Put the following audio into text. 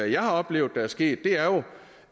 jeg har oplevet der er sket er jo